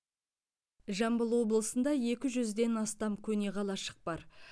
жамбыл облысында екі жүзден астам көне қалашық бар